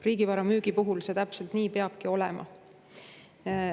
Riigivara müügi puhul see täpselt nii peabki olema.